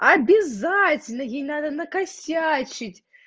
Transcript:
обязательно ей надо накосячить